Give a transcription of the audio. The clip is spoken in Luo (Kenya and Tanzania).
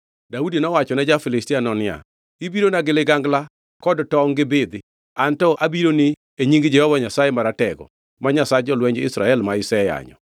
Daudi nowachone ja-Filistiano niya, “Ibirona gi ligangla kod tongʼ gi bidhi, anto abironi e nying Jehova Nyasaye Maratego, ma Nyasach jolweny Israel ma iseyanyo.